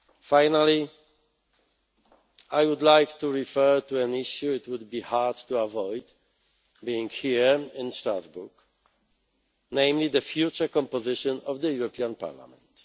fact. Finally, I would like to refer to an issue it would be hard to avoid, being here in Strasbourg the future composition of the European Parliament.